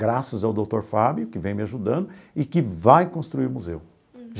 Graças ao doutor Fábio, que vem me ajudando e que vai construir o museu.